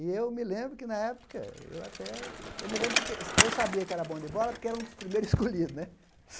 E eu me lembro que, na época, eu até eu me lembro que eu sabia que era bom de bola porque era um dos primeiros escolhidos né.